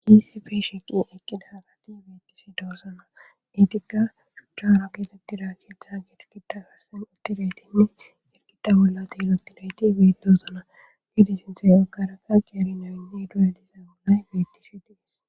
Isi fe sheqi eqqida hagati beettish doosona etikka shuchcharo keexettida keeththa girkida garsen uttireytinne girkida bollati elotidayti beidosona gide sinthey agaraka qiyari nawinne duyalizay bollay bettishi dees